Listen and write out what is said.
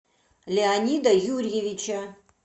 леонида юрьевича